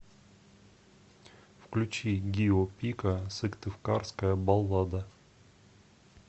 включи гио пика сыктывкарская баллада